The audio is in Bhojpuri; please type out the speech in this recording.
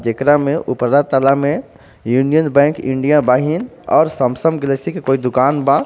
जेकरा में ऊपरा तल्ला में यूनियन_बैंक_इंडिया बाहिन और सैमसंग_गैलेक्सी के कोई दुकान बा.